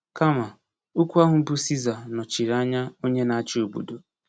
Kama, okwu ahụ bụ “Siza” nọchiri anya onye na-achị obodo.